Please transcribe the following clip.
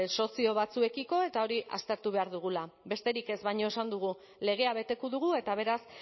sozio batzuekiko eta hori aztertu behar dugula besterik ez baina esan dugu legea beteko dugu eta beraz